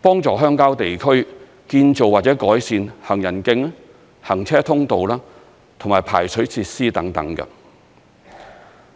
幫助鄉郊地區建造或改善行人徑、行車通路和排水設施等。